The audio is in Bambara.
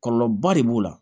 Kɔlɔlɔba de b'o la